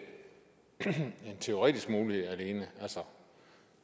en teoretisk mulighed alene altså